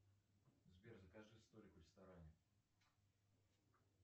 сбер закажи столик в ресторане